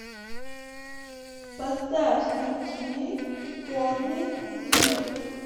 поставь на тв конный мир